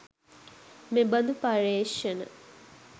මෙබඳු පර්යේෂණ